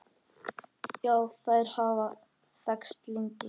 Já, þær hafa þekkst lengi.